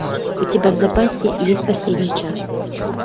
у тебя в запасе есть последний час